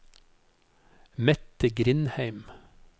Mette Grindheim